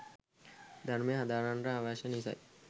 ධර්මය හදාරන්නට අවශ්‍ය නිසයි.